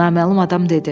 naməlum adam dedi.